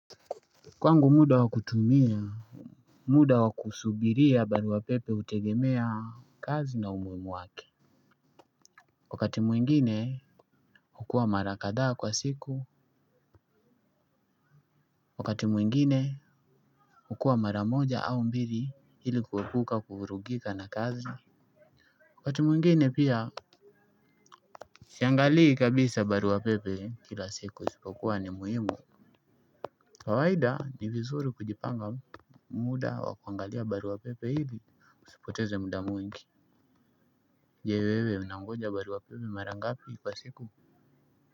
Kwangu muda wa kutumia, muda wa kusubiria baruwa pepe utegemea kazi na umuimu wake. Wakati mwingine ukua mara kadaa kwa siku, wakati mwengine ukua mara moja au mbiri hili kuepuka kuvurugika na kazi. Wakati mwingine pia siangalii kabisa baruwa pepe kila siku isipokuwa ni muhimu kawaida ni vizuri kujipanga muda wa kuangalia baruwa pepe hili usipoteze muda mwingi je wewe unangoja baruwa pepe mara ngapi kwa siku.